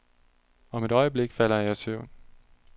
Om et øjeblik falder jeg i søvn.